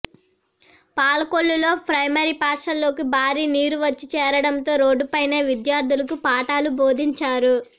పాలకొల్లులో primary పాఠశాలోకి భారీ నీరు వచ్చి చేరడంతో రోడ్డుపైనే విద్యార్ధులకు పాఠాలు భోదించారు